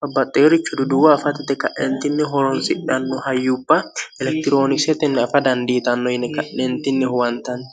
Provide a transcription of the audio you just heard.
babbaxxeerichi duduwa afatite ka'eentinni horonsidhanno hayyupha elektiroonikisetinni afa dandiitanno yine ka'neentinni huwantanni